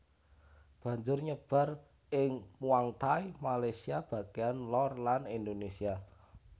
Banjur nyebar ing Muangthai Malaysia bagèyan lor lan Indonesia